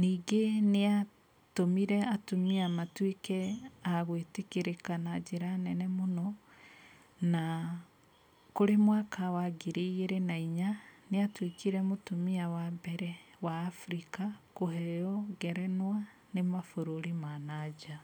Ningĩ nĩatũmire atumia matuĩke a gwĩtĩkĩrĩka na njĩra nene mũno. Na kũrĩ mwaka wa ngiri igĩrĩ na inya nĩatuĩkire mũtumia wa mbere wa Abirika kũheyo ngerenwa nĩ mabũrũri ma na nja.